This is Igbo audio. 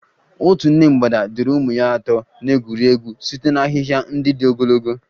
Otu nne mgbada duru ụmụ ya atọ na-egwuri egwu site na ahịhịa ndị dị ogologo.